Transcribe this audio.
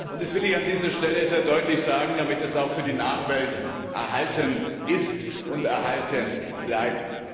Das will ich an dieser Stelle sehr deutlich sagen, damit es auch für die Nachwelt erhalten ist und erhalten bleibt!